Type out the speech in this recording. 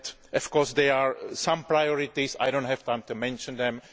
Of course there are some priorities but I do not have time to mention them.